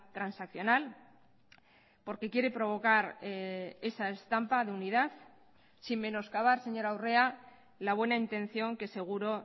transaccional porque quiere provocar esa estampa de unidad sin menos cavar señora urrea la buena intención que seguro